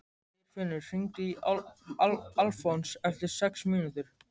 Geirfinnur, hringdu í Alfons eftir sex mínútur.